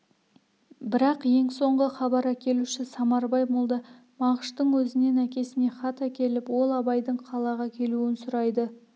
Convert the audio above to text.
бірақ ең соңғы хабар әкелуші самарбай молда мағаштың өзінен әкесіне хат әкеліп ол абайдың қалаға келуін сұрайды